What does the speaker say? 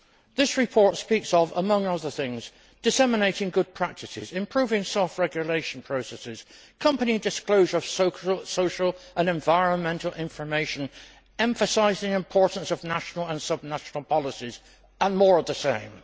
This report speaks, among other things, of disseminating good practices, improving soft regulation processes, company disclosure of social and environmental information, emphasising the importance of national and subnational policies, and more of the same.